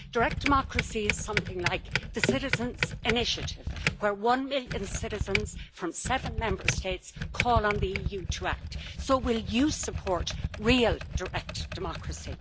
Direct democracy is something like the citizens' initiative, where one million citizens from seven Member States call on the EU to act. So will you support real direct democracy?